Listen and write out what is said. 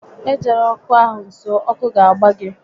E jela ọkụ ahụ nso, ọkụ ga agba gị!